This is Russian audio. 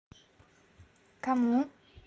кому